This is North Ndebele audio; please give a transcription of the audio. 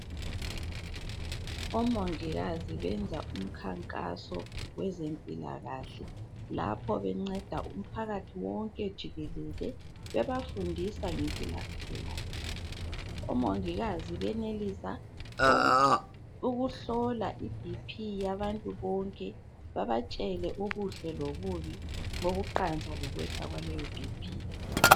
Omongikazi benza umkhankaso kwezempilakahle lapho benceda umphakathi wonke jikelele bebafundisa ngempilakahle. Omongikazi benelisa ukuhlola i BP yabantu bonke babatshele okuhle lokubi bokuqansa lokwehla kwaleyo BP.